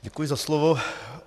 Děkuji za slovo.